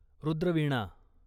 Rudra Veena